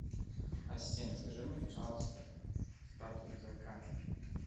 ассистент скажи мне пожалуйста статус заказа